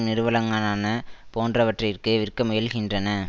நிறுவளங்களான போன்றவற்றிற்கு விற்கமுயல்கின்றன